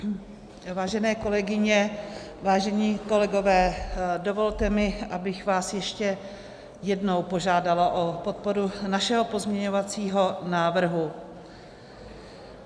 Vážené kolegyně, vážení kolegové, dovolte mi, abych vás ještě jednou požádala o podporu našeho pozměňujícího návrhu.